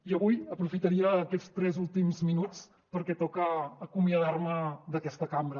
i avui aprofitaria aquests tres últims minuts perquè toca acomiadar me d’aquesta cambra